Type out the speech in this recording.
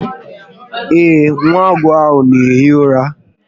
Ee, nwa agụ ahụ n'ehi ụra